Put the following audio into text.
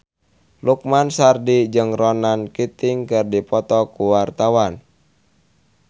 Lukman Sardi jeung Ronan Keating keur dipoto ku wartawan